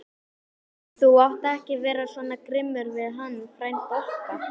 Þú átt ekki vera svona grimmur við hann frænda okkar!